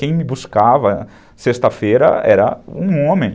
Quem me buscava sexta-feira era um homem.